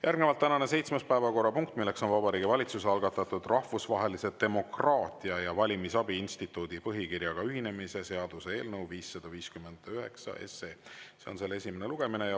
Järgnevalt tänane seitsmes päevakorrapunkt: Vabariigi Valitsuse algatatud Rahvusvahelise Demokraatia ja Valimisabi Instituudi põhikirjaga ühinemise seaduse eelnõu 559 esimene lugemine.